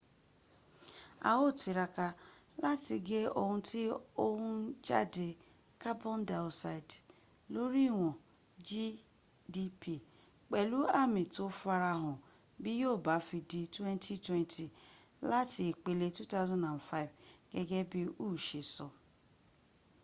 a ó tiraka láti gé ohun tí ó ń jáde carbon dioxide lóní ìwọ̀n gdp pẹ̀lú àmì tó farahàn bí yíò bá fi di 2020 láti ìpele 2005 gẹ́gẹ́ bí” hu se sọ